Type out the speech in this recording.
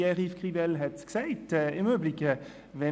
Pierre-Yves Grivel hat es im Übrigen gesagt: